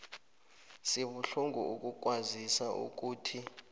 sibuhlungu ukukwazisa ukuthi